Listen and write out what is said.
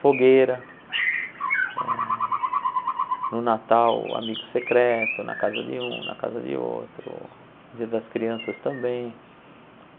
Fogueira, eh no Natal, amigo secreto, na casa de um, na casa de outro, dia das crianças também.